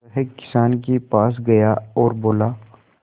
वह किसान के पास गया और बोला